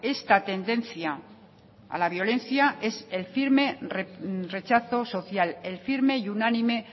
esta tendencia a la violencia es el firme rechazo social el firme y unánime